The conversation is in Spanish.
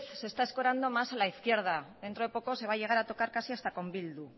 se está escorando más en la izquierda dentro de poco se va a llegar a tocar casi hasta con bildu